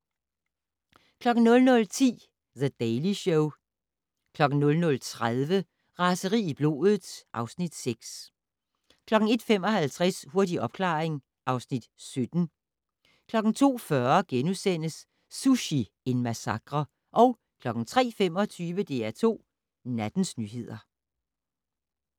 00:10: The Daily Show 00:30: Raseri i blodet (Afs. 6) 01:55: Hurtig opklaring (Afs. 17) 02:40: Sushi - en massakre * 03:25: DR2 Nattens nyheder